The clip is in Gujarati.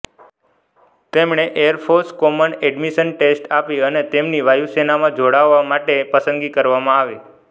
તેમણે એરફોર્સ કોમન એડમિશન ટેસ્ટ આપી અને તેમની વાયુસેનામાં જોડાવા માટે પસંદગી કરવામાં આવી